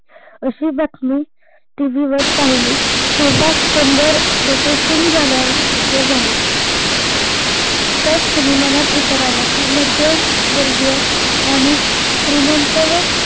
अशी बातमी टीव्ही वर पहिली तेव्हा क्षणभर डोके सून झाल्या सारखे झाले, त्याच क्षणी मनात विचार अला की मध्यम वर्गीय आणि श्रीमंत व